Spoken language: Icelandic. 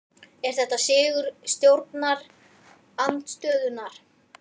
Er þetta sigur stjórnarandstöðunnar?